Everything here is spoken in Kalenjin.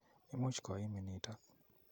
Imuch koimin notok.